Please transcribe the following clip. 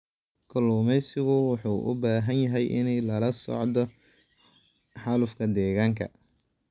Kalluumeysigu wuxuu u baahan yahay inuu la socdo xaalufka deegaanka.